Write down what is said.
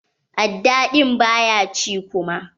Aɗɗa ɗin ba ya ci kuma.